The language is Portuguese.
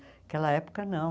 Naquela época, não.